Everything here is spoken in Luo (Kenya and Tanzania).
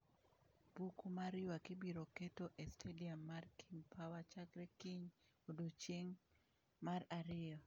Buku mar ywak ibiro keto e stadium mar King Power chakre kiny odiechieng' mar ariyo.